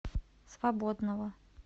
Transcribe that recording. свободного